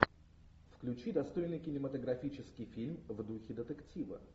включи достойный кинематографический фильм в духе детектива